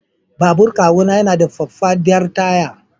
Babur kawuna yana da faffadar taya.